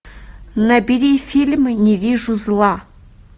набери фильм не вижу зла